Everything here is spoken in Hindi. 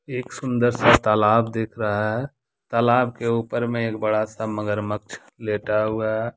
एक सुंदर सा तालाब दिख रहा है तालाब के ऊपर मे एक बड़ा सा मगरमच्छ लेटा हुआ है।